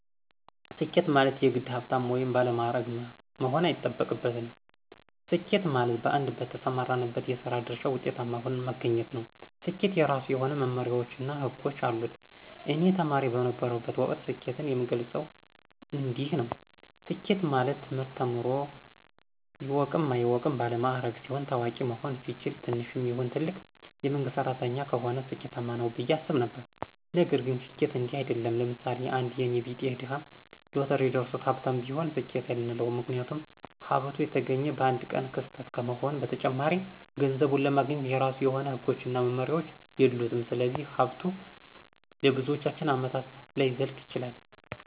ስኬት ማለት የግድ ሀብታም ወይም ባለማዕረግ መሆን አይጠበቅብንም። ስኬት ማለት በአንድ በተሰማራንበት የስራ ድርሻ ውጤታማ ሁነን መገኘት ነው። ስኬት የራሱ የሆነ መመመሪያዎች እና ህጎች አሉት። እኔ ተማሪ በነበረሁበት ወቅት ስኬትን የምገልፀው እንዲንዲህ ነው። ስኬት ማለት ትምህርት ተምሮ ይወቅም አይወቅም ባለማዕረግ ሲሆን፣ ታዋቂ መሆን ሲችል፣ ትንሽም ይሁን ትልቅ የመንግስት ሰራተኛ ከሆነ ስኬማነው ብየ አስብ ነበረ። ነገር ግን ስኬት እንዲህ አይድለም። ለምሳሌ፦ አንድ የኔ ቢጤ ድሀ ሎተሪ ደርሶት ሀብታም ቢሆን ስኬት አንለውም ምክንያቱም ሀብቱ የተገኘ በአንድ ቀን ክስተት ከመሆኑም በተጨማሪ ገንዘቡን ለማግኘት የራሱ የሆነ ህጎችና መመሪያዎች የሉትም ስለዚህ ሀብቱ ለብዙዎቻችን አመታት ላይዘልቅ ይችላል።